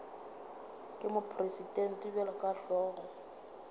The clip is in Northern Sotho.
ke mopresidente bjalo ka hlogo